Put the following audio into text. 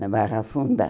Na Barra Funda.